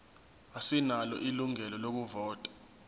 asinalo ilungelo lokuvota